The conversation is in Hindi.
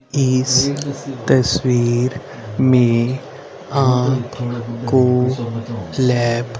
इस तस्वीर में आप को लैब --